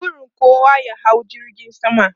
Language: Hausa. Burin kowa ya hau jirgin sama.